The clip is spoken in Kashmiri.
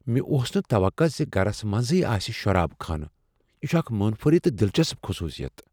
مےٚ اوس نہ توقع زِگرس منزٕے آسہ شراب خانہ، یہ چھ اکھ منفرد تہٕ دلچسپ خصوصیت